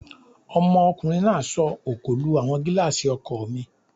Ọmọkùnrin náà sọ òkò lu àwọn gílààsì ọkọ̀ mi